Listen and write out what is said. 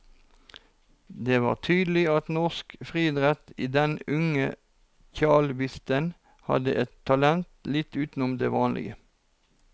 Det var tydelig at norsk friidrett i den unge tjalvisten hadde et talent litt utenom det vanlige.